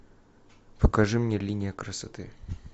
покажи мне линия красоты